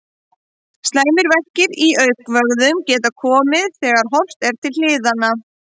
Slæmir verkir í augnvöðvum geta komið þegar horft er til hliðanna.